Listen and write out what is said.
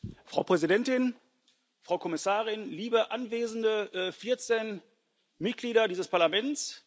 Frau Präsidentin, Frau Kommissarin, liebe anwesende vierzehn Mitglieder dieses Parlaments!